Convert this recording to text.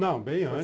Não, bem antes.